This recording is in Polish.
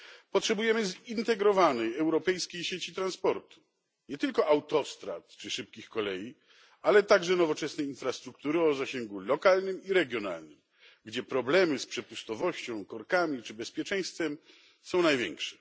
Potrzebujemy zintegrowanej europejskiej sieci transportu nie tylko autostrad czy szybkich kolei, ale także nowoczesnej infrastruktury o zasięgu lokalnym i regionalnym, gdzie problemy z przepustowością, korkami czy bezpieczeństwem są największe.